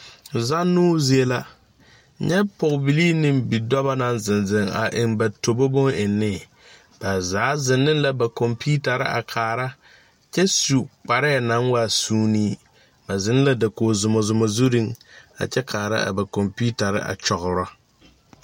Zanoo zie la nyɛ pɔgbilii neŋ bidɔbɔ naŋ zeŋ zeŋ a eŋ ba tobo boneŋnee ba zaa zeŋ neŋ la ba kɔmpiutarre a kaara kyɛ su kpareɛɛ naŋ waa suunee ba zeŋ la dakoge zumazuma zurreŋ a kyɛ kaara a ba kɔmpiutarre a kyɔgrɔ.